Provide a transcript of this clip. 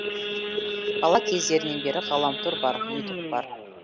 бала кездерінен бері ғаламтор бар ютуб бар